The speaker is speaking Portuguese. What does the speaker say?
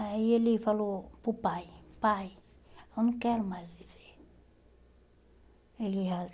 Aí ele falou para o pai, pai, eu não quero mais viver.